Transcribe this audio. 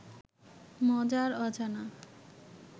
মজার অজানা